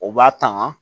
O b'a tanga